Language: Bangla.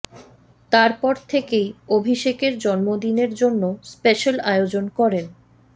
তার পর থেকেই অভিষেকের জন্মদিনের জন্য স্পেশ্যাল আয়োজন করেন